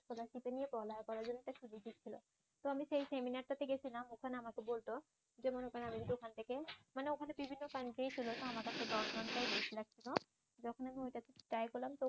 নিয়ে পড়ালেখা করার জন্য একটা সুযোগ দিচ্ছিল তো আমি সেই সেমিনার টাতে গেছিলাম ওখানে আমাকে বলতো যে মনে করেন আমি যদি ওখান থেকে মানে ওখানে বিভিন্ন সেখানে দশ ঘন্টা বসে থাকতো যখন আমি ওইটাতে ট্রাই করলাম